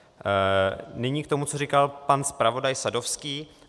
Nyní k tomu, co říkal pan zpravodaj Sadovský.